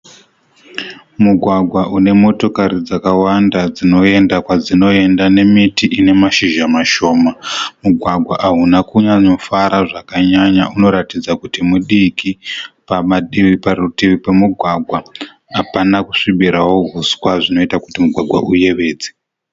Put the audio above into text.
Mugwagwa unemotokari dzakawanda dzinoenda kwadzinoenda nemiti inemashizha mashoma. Mugwagwa ahuna kunyanyofara zvakanyanya unoratidza kuti mudiki. Pamativi parutivi pemugwagwa hapana kusvibirawo huswa zvinoita kuti mugwagwa uyevedze.